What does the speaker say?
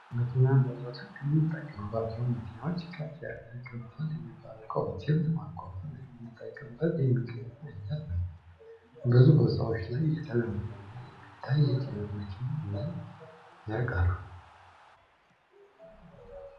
የጭነት መኪና ለዘወትር ከምንጠቀምባቸው መኪናዎች ከፍ ያለ፣ ከባድ ሚባሉ እቃዎችን ለማጓጓዝ የምንጠቀምበት የመኪና አይነት ነው። ብዙ ቦታዎች ላይ የተለመደ እና የሚታይ የጭነት መኪና ምንን ያቃሉ?